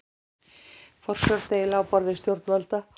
Forsjárdeila á borði stjórnvalda